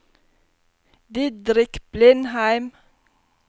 Didrik Blindheim